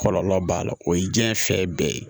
Kɔlɔlɔ b'a la o ye diɲɛ fɛ bɛɛ ye